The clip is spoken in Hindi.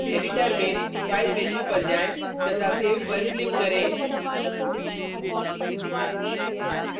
एडिटर में फाइल मेन्यू पर जाएँ तथा सेव पर क्लिक करें